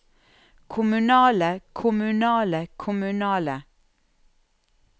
kommunale kommunale kommunale